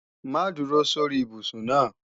Má dúró sórí ibùsùn náà!